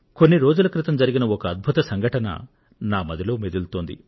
కొన్ని రోజుల క్రితం జరిగిన ఒక అద్భుత సంఘటన నా మదిలో మెదులుతోంది